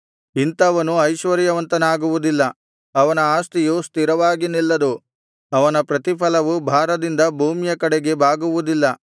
ಇಂಥವನು ಐಶ್ವರ್ಯವಂತನಾಗುವುದಿಲ್ಲ ಅವನ ಆಸ್ತಿಯು ಸ್ಥಿರವಾಗಿ ನಿಲ್ಲದು ಅವನ ಪ್ರತಿ ಫಲವು ಭಾರದಿಂದ ಭೂಮಿಯ ಕಡೆಗೆ ಬಾಗುವುದಿಲ್ಲ